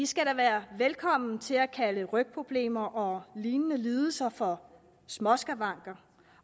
skal da være velkommen til at kalde rygproblemer og lignende lidelser for småskavanker